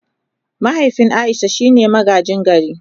Mahaifin Aisha shine magaji gari.